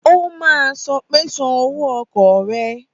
Ó máa sọ pé san owó ọkọ̀ rẹ!